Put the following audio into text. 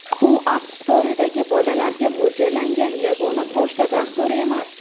U App Store’dagi bolalarga mo‘ljallangan yagona pochta dasturi emas.